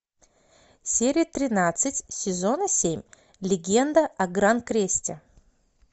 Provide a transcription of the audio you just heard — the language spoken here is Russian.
серия тринадцать сезона семь легенда о гранкресте